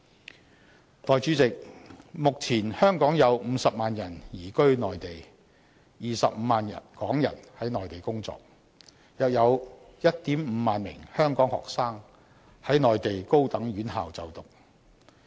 代理主席，目前香港有50萬人移居內地 ，25 萬港人在內地工作，另有約 15,000 名香港學生在內地高等院校就讀。